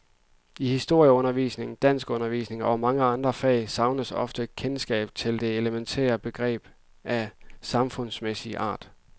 I historieundervisningen, danskundervisningen og i mange andre fag savnes ofte kendskab til helt elementære begreber af samfundsmæssig art.